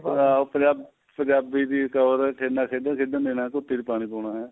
ਲੈ ਉਹ ਪੰਜਾਬ ਪੰਜਾਬੀ ਦੀ ਟੋਰ ਕਹਿੰਦਾ ਖੇਡਾ ਨਾ ਖੇਡਣ ਦੇਣਾ ਕੁਪੀ ਚ ਪਾਣੀ ਪਾਉਣਾ ਹੈ